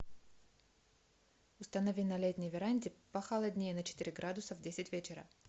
установи на летней веранде похолоднее на четыре градуса в десять вечера